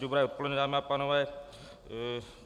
Dobré odpoledne, dámy a pánové.